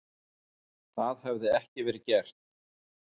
Það hefði ekki verið gert